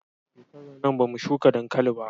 Shekarar nan ba mu shuka dankali ba